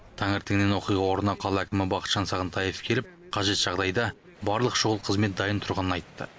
таңертеңнен оқиға орнына қала әкімі бақытжан сағынтаев келіп қажет жағдайда барлық шұғыл қызмет дайын тұрғанын айтты